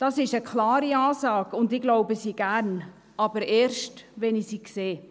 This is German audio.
Das ist eine klare Ansage, und ich glaube sie gerne – aber erst, wenn ich sie sehe.